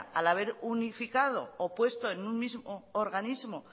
al haber unificado o puesto en un mismo organismo